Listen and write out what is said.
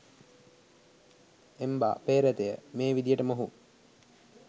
එම්බා පේ්‍රතය, මේ විදිහට මොහු